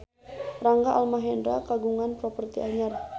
Rangga Almahendra kagungan properti anyar